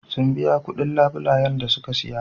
Sun biya kuɗin labulayen da suka saya.